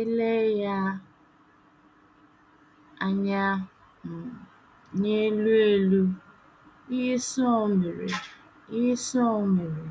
E lee ya anya um n’elu elu, ihe Sọl mere ihe Sọl mere